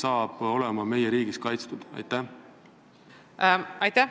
Aitäh!